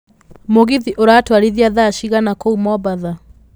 mũgithi uratũarithia thaa cigana kũu mombatha